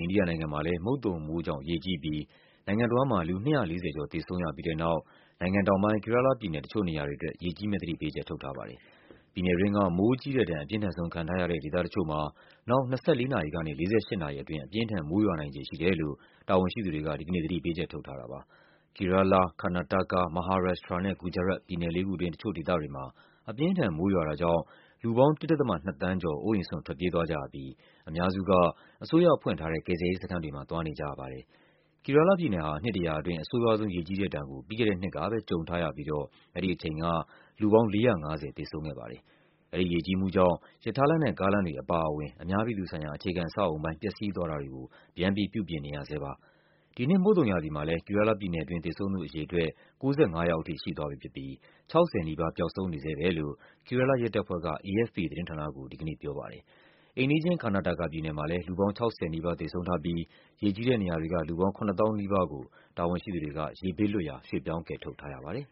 အိန္ဒိယနိုင်ငံမှာ မုတ်သုံမိုးကြောင့် ရေကြီးပြီး နိုင်ငံတဝန်းမှာ လူ ၂၄၀ ကျော် သေဆုံးပြီးတဲ့နောက် နိုင်ငံတောင်ပိုင်း Kerala ပြည်နယ် တချို့နေရာတွေအတွက် ရေကြီးမယ့် သတိပေးချက် ထုတ်ထားပါတယ်။ ပြည်နယ်တွင်းက မိုးကြီးတဲ့ဒဏ် အပြင်းထန်ဆုံး ခံထားရတဲ့ ဒေသတချို့မှာ နောက် ၂၄ နာရီကနေ ၄၈ နာရီအတွင်း အပြင်းအထန် မိုးရွာနိုင်ခြေရှိတယ်လို့ တာဝန်ရှိသူတွေက ဒီကနေ့ သတိပေးချက် ထုတ်ထားတာပါ။ Kerala, Karnataka, Maharashtra နဲ့ Gujarat ပြည်နယ်လေးခုတွင်း တချို့ ဒေသတွေမှာ အပြင်းအထန် မိုးရွာတာကြောင့် လူပေါင်း ၁.၂ သန်ေးကျာ် အိုးအိမ်စွန့်ထွက်ပြေးသွားကြရပြီး အများစုက အစိုးရကဖွင့်ထားတဲ့ ကယ်ဆယ်ရေးစခန်းတွေမှာ သွားနေကြရပါတယ်။ Kerala ပြည်နယ်ဟာ နှစ်တရာအတွင်း အဆိုးရွားဆုံး ရေကြီးတဲ့ဒဏ်ကို ပြီးခဲ့တဲ့နှစ်ကပဲ ကြုံထားရပြီးတော့ အဲဒီအချိန်က လူပေါင်း ၄၅၀ သေဆုံးခဲ့ပါတယ်။ အဲဒီရေကြီးမှုကြောင့် ရထားလမ်းနဲ့ ကားလမ်းတွေအပါအဝင် အများပြည်သူဆိုင်ရာ အခြေခံ အဆောက်အအုံပိုင်း ပျက်စီးသွားတာတွေကို ပြန်ပြီး ပြုပြင်နေရဆဲပါ။ ဒီနှစ် မုတ်သုံရာသီမှာလည်း Kerala ပြည်နယ်တွင်း သေဆုံးသူအရေအတွက် ၉၅ ယောက်ထိ ရှိသွားပြီဖြစ်ပြီး ၆၀ နီးပါး ပျောက် ဆုံးနေဆဲပဲလို့ Kerala ရဲတပ်ဖွဲ့က AFP သတင်းဌာနကို ဒီကနေ့ပြောပါတယ်။ အိမ်နီးချင်း Karnataka ပြည်နယ်မှာလည်း လူပေါင်း ၆၀ နီးပါး သေဆုံးထားပြီး ရေကြီးတဲ့နေရာတွေက လူပေါင်း ၇ သောင်းနီးပါး ကို တာဝန်ရှိသူတွေက ရေဘေးလွတ်ရာ ရွှေ့ပြောင်း ကယ်ထုတ် ထားရပါတယ်